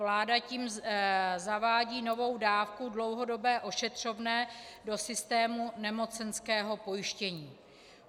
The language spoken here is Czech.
Vláda tím zavádí novou dávku, dlouhodobé ošetřovné, do systému nemocenského pojištění.